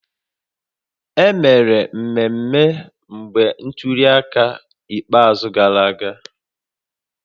E mere mmemmé mgbe ntuli aka ikpeazụ gasịrị